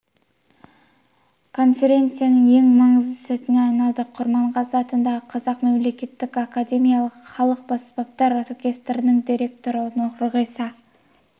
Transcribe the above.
конференцияның ең маңызды сәтіне айналды құрманғазы атындағы қазақ мемлекеттік академиялық халық аспаптар оркестрінің директоры нұрғиса